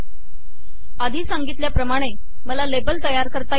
आधी सांगितल्या प्रमाणे मला लेबल तयार करता येईल